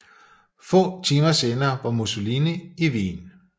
Få timer senere var Musssolini i Wien